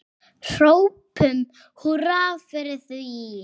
Hrópum húrra fyrir því.